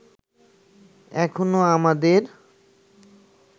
এখনো আমাদের